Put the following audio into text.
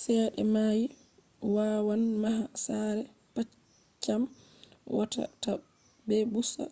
cede mai wawan maha sare paccam wawa ta bpusa